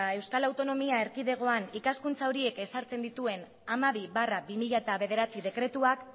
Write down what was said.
euskal autonomia erkidegoan ikaskuntza horiek ezartzen dituen hamabi barra bi mila bederatzi dekretuak